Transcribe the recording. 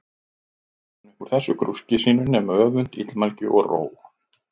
Ekkert hafði hann upp úr þessu grúski sínu nema öfund, illmælgi, og róg.